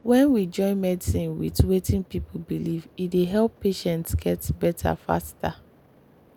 when we join medicine with wetin people believe e dey help patients get better faster.